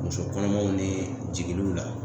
Muso kɔnɔmaw ni jigiliw la